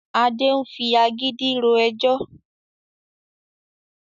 Adé ń fi agídí ro ẹjọ́